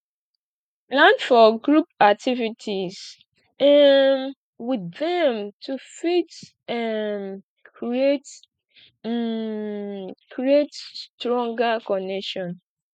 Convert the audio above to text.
plan for group activities um with dem to fit um create um create stronger connection